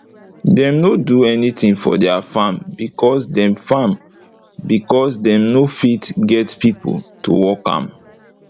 dem nor do anytin for deir farm becos dem farm becos dem nor fit get pipo to work am